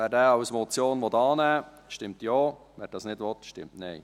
Wer diesen als Motion annehmen will, stimmt Ja, wer dies nicht will, stimmt Nein.